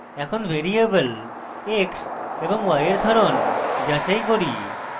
এখন variable x এবং y এর ধরন যাচাই করি